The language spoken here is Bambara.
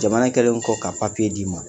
Jamana kɛlen kɔ ka papiye d'i ma